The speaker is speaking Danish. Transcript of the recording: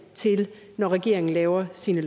når regeringen laver sine